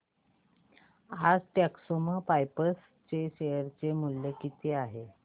आज टेक्स्मोपाइप्स चे शेअर मूल्य किती आहे